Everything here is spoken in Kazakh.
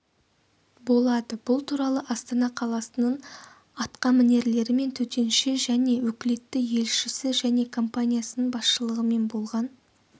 болады бұл туралы астана қаласының атқамінерлері мен төтенше және өкілетті елшісі және компаниясының басшылығымен болған